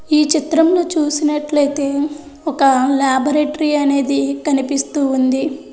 ఈ చిత్రంలో చూసినట్లయితే ఒక లేబొరేటరీ అనేది కనిపిస్తూ ఉంది.